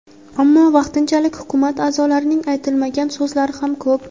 Ammo vaqtinchalik hukumat a’zolarining aytilmagan so‘zlari ham ko‘p.